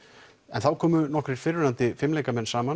þá komu nokkrir fyrrverandi fimleikamenn saman